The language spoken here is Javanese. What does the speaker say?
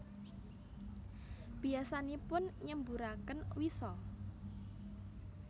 Biyasanipun nyemburaken wisa